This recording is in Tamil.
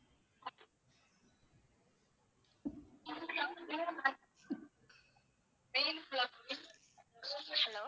hello